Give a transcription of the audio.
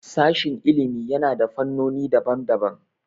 Sashin ilimi yana da fannoni daban daban